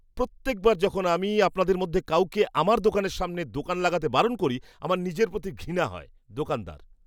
প্রত্যেকবার যখন আমি আপনাদের মধ্যে কাউকে আমার দোকানের সামনে দোকান লাগাতে বারণ করি, আমার নিজের প্রতি ঘৃণা হয়! দোকানদার